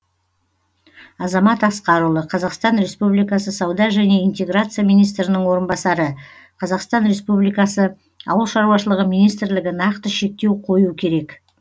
азамат асқарұлы қазақстан республикасы сауда және интеграция министрінің орынбасары қазақстан республикасы ауыл шаруашылығы министрлігі нақты шектеу қою керек